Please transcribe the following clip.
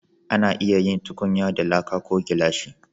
A na iya yin tukunya da laƙa ko gilashi